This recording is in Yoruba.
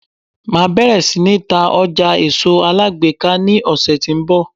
Máa bẹ̀rẹ̀ sí ní ta ọjà èso alágbèéká ní ọ̀sẹ̀ tó ń bọ̀.